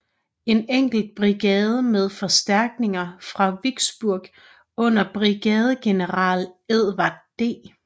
En enkelt brigade med forstærkninger fra Vicksburg under brigadegeneral Edward D